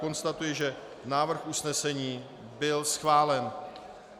Konstatuji, že návrh usnesení byl schválen.